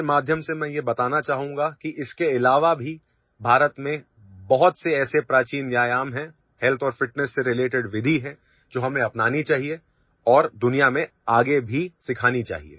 मन कीबात के माध्यम से मैं यह बताना चाहूंगा कि इसके अलावा भीभारत में बहुत से ऐसे प्राचीन व्यायाम है ହେଲ୍ଥ और ଫିଟନେସ୍ सेrelated विधि है जो हमें अपनानी चाहिए और दुनिया में आगे भीसिखानी चाहिए